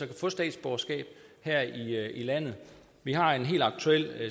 kan få statsborgerskab her i landet vi har en helt aktuel